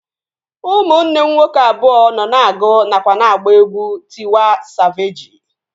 Ụmụnne m nwoke abụọ nọ na-agụ nakwa na-agba egwu Tịwa Savejị